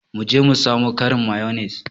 Mu je mu samo ƙarin mayonnaise.